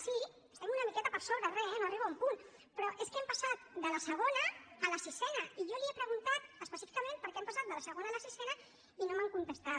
sí estem una miqueta per sobre re no arriba a un punt però és que hem passat de la segona a la sisena i jo li he preguntat específicament per què hem passat de la segona a la sisena i no m’han contestat